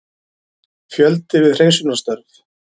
Fjöldi við hreinsunarstörf